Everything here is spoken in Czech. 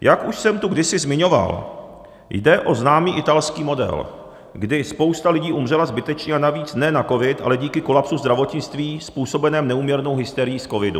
Jak už jsem tu kdysi zmiňoval, jde o známý italský model, kdy spousta lidí umřela zbytečně, a navíc ne na covid, ale díky kolapsu zdravotnictví způsobenému neúměrnou hysterií z covidu.